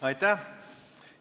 Aitäh!